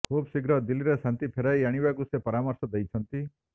ଖୁବ୍ ଶୀଘ୍ର ଦିଲ୍ଲୀରେ ଶାନ୍ତି ଫେରାଇ ଆଣିବାକୁ ସେ ପରମର୍ଶ ଦେଇଛନ୍ତି